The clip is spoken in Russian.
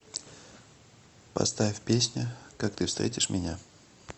поставь песня как ты встретишь меня